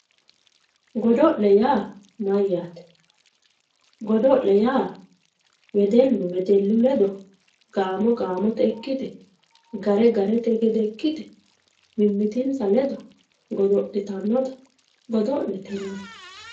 Godo'le yaa mayyate ,godo'le yaa wedellu wedellu ledo gaamo gaamote ikkite gare garete gede ikkite mimitinsa ledo godo'littanotta godo'lete yinanni.